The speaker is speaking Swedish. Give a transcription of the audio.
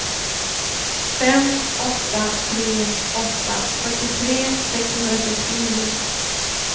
fem åtta tre åtta fyrtiotre sexhundrasextionio